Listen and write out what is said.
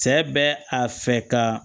Cɛ bɛ a fɛ ka